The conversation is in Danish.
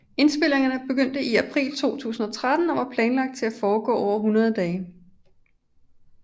Indspilningerne begyndte i april 2013 og var planlagt til at foregå over 100 dage